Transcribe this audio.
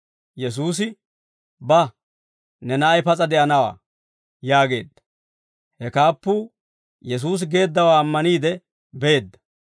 Yesuusi, «Ba; ne na'ay pas'a de'anawaa!» yaageedda. He kaappuu Yesuusi geeddawaa ammaniide beedda.